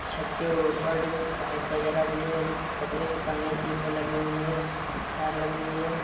छत के ऊपर पीप ( वागेर भी है जिसमे कबर स्थान लग रहा है| गिटार लगी हुई हैं।